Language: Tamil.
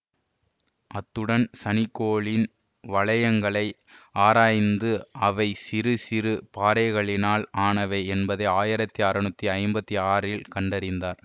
அத்துடன் சனி கோளின் வளையங்களை ஆராய்ந்து அவை சிறு சிறு பாறைகளினால் ஆனவை என்பதை ஆயிரத்தி அறுநூற்றி ஐம்பத்தி ஆறில் கண்டறிந்தார்